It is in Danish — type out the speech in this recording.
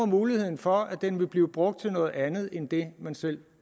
muligheden for at den vil blive brugt til noget andet end det man selv